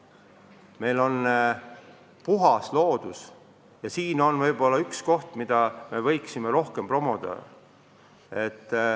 Meil on puhas loodus ja seda me võiksime märksa rohkem promoda.